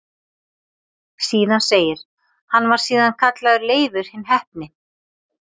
Síðan segir: Hann var síðan kallaður Leifur hinn heppni